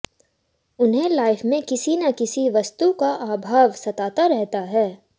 उन्हें लाइफ में किसी न किसी वस्तु का अभाव सताता रहता है